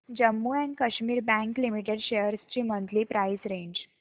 Jammu and Kashmir bank limited shares ची monthly price range